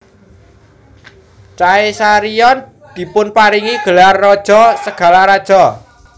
Caesarion dipunparingi gelar Raja segala Raja